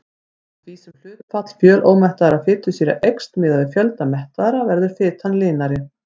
Eftir því sem hlutfall fjölómettaðra fitusýra eykst miðað við fjölda mettaðra verður fitan linari.